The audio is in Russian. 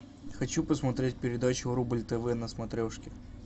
хочу посмотреть передачу рубль тв на смотрешке